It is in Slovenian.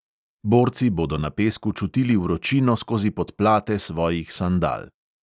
Borci bodo na pesku čutili vročino skozi podplate svojih sandal.